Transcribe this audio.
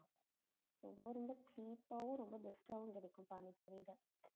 ரொம்ப ரொம்ப cheap ஆவும், ரொம்ப best டாவும் கிடைக்கும் பாண்டிச்சேரில